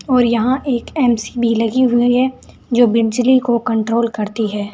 और यहां एक एम_सी_वी लगी हुई है जो बिजली को कंट्रोल करती है।